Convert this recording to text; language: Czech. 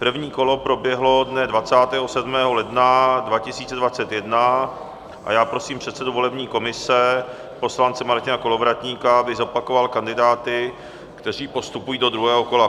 První kolo proběhlo dne 27. ledna 2021 a já prosím předsedu volební komise, poslance Martina Kolovratníka, aby zopakoval kandidáty, kteří postupují do druhého kola.